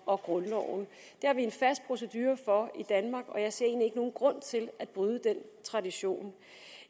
og grundloven det har vi en fast procedure for i danmark og jeg ser egentlig ikke nogen grund til at bryde den tradition